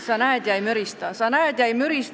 Sa näed ja sa ei mürista, kui riik rikub seadust.